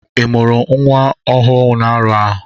Ị mụrụ nwa ọhụụ n'arọ a?